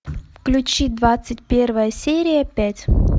включи двадцать первая серия пять